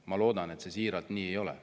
Ma loodan siiralt, et see nii ei ole.